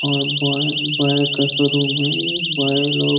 और boy boy का showroom है ये। बॉय लोग --